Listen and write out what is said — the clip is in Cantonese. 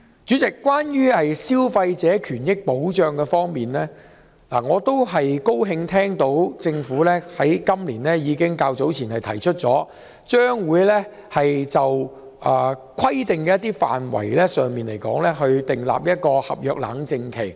主席，關於消費者權益保障，我很高興聽到政府今年較早時提出，將會規定某些範圍的合約須設立冷靜期。